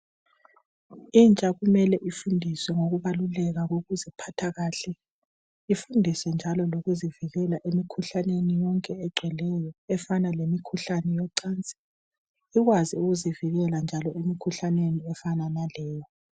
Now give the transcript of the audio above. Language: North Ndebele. Intsha kumele ifundiswe ngokubaluleka kokuziphatha kahle ifundiswe njalo zokuzivikela emkhuhlaneni yonke egcweleyo efana lemkhuhlane yocansi ikwazi ukuzivikela njalo emkhuhlaneni efana laleyo.